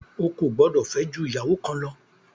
O kò gbọdọ̀ fẹ́ jù ìyàwó kan lọ!